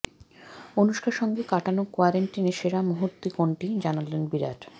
অনুষ্কার সঙ্গে কাটানো কোয়ারেন্টাইনে সেরা মুহূর্ত কোনটি জানালেন বিরাট